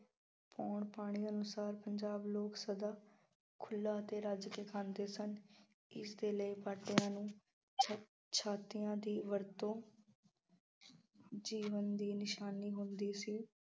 ਪੌਣ ਪਾਣੀ ਅਨੁਸਾਰ ਪੰਜਾਬ ਨੂੰ ਸਦਾ ਖੁੱਲ੍ਹਾ ਅਤੇ ਰੱਜ ਕੇ ਖਾਂਦੇ ਸਨ। ਇਸਦੇ ਲਈ ਬਾਟਿਆਂ ਨੂੰ ਪ੍ਰਸ਼ਾਦਿਆਂ ਦੀ ਵਰਤੋਂ ਜੀਵਨ ਦੀ ਨਿਸ਼ਾਨੀ ਹੁੰਦੀ ਸੀ।